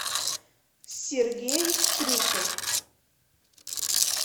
сергей стрюков